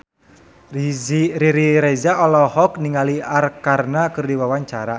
Riri Reza olohok ningali Arkarna keur diwawancara